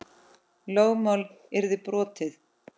Lögmál yrði brotið.